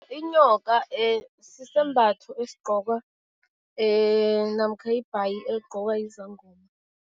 Inyoka sisembatho esigqokwa namkha ibhayi eligqokwa yizangoma.